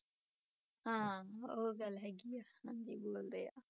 ਹਾਂ ਉਹ ਗੱਲ ਹੈਗੀ ਆ, ਹਾਂਜੀ ਬੋਲਦੇ ਆ।